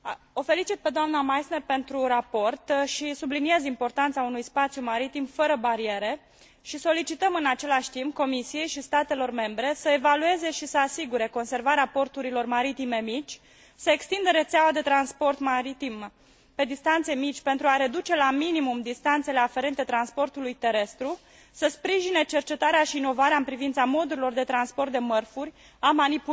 O felicit pe doamna Meissner pentru raport și subliniez importanța unui spațiu maritim fără bariere și solicităm, în același timp, Comisiei și statelor membre să evalueze și să asigure conservarea porturilor maritime mici, să extindă rețeaua de transport maritim pe distanțe mici pentru a reduce la minimum distanțele aferente transportului terestru, să sprijine cercetarea și inovarea în privința modurilor de transport de mărfuri, a